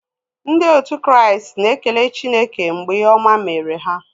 Ndị otu Kraịst na-ekele Chineke mgbe ihe ọma mere ha.